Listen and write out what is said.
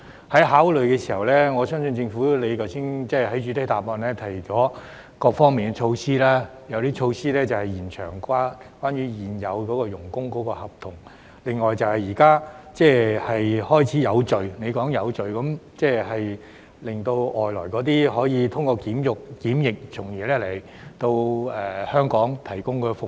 當作考慮時，我相信政府......剛才局長在主體答覆中提到各方面的措施，有些措施是延長現有外傭的合同，另外局長提到有序，即是讓外傭通過檢疫後來香港提供服務。